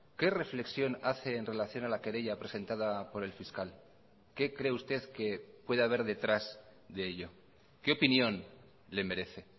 qué reflexión hace en relación a la querella presentada por el fiscal qué cree usted que puede haber detrás de ello qué opinión le merece